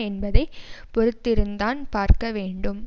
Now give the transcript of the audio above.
என்பதை பொறுத்து இருந்தான் பார்க்க வேண்டும்